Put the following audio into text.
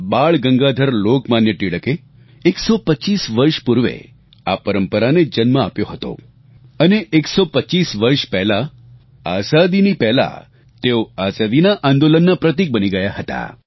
બાળગંગાધર લોકમાન્ય તિલકે 125 વર્ષ પૂર્વે આ પરંપરાને જન્મ આપ્યો હતો અને 125 વર્ષ પહેલા આઝાદીની પહેલા તેઓ આઝાદીના આંદોલનના પ્રતિક બની ગયા હતા